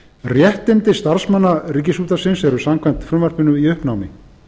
réttindi starfsmanna ríkisútvarpsins eru samkvæmt frumvarpinu í uppnámi